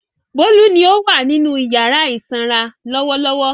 Bólú ni ó wà nínú ìyàrá ìsanra lọ́wọ́lọ́wọ́.